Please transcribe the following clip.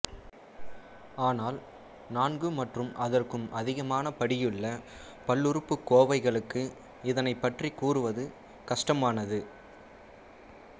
ஆனால் நான்கு மற்றும் அதற்கும் அதிகமான படியுள்ள பல்லுறுப்புக்கோவைகளுக்கு இதனைப் பற்றிக் கூறுவது கஷ்டமானது